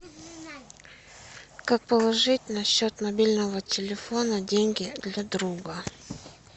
как положить на счет мобильного телефона деньги для друга